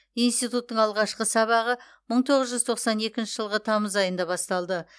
институттың алғашқы сабағы мың тоғыз жүз тоқсан екінші жылғы тамыз айында басталды